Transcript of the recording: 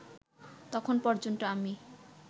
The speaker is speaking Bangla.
তখন পর্যন্ত আমি